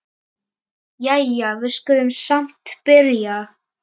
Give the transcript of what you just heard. Jæja, við skulum samt byrja.